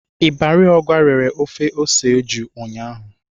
Ibari Ogwa rere ofe ose eju ụnyahụ.